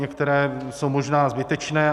Některé jsou možná zbytečné.